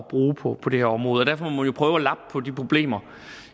bruge på på det her område derfor må man prøve at lappe på de problemer